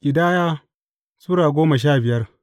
Ƙidaya Sura goma sha biyar